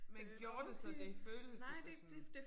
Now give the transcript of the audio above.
Men gjorde det så det føltes det så sådan